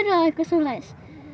og eitthvað svoleiðis